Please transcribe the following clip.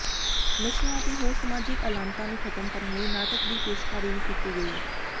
ਨਸ਼ਿਆਂ ਅਤੇ ਹੋਰ ਸਮਾਜਿਕ ਅਲਾਮਤਾਂ ਨੂੰ ਖਤਮ ਕਰਨ ਲਈ ਨਾਟਕ ਦੀ ਪੇਸ਼ਕਾਰੀ ਵੀ ਕੀਤੀ ਗਈ